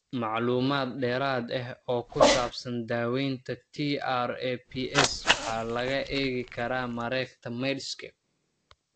Macluumaad dheeraad ah oo ku saabsan daawaynta TRAPS waxa laga eegi karaa mareegta Medscape.